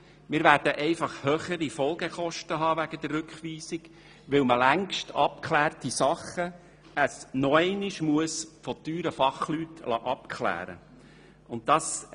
Wegen der Rückweisung hätten wir höhere Folgekosten, weil längst getätigte Abklärungen nochmals von teuren Fachleuten vorgenommen werden müssen.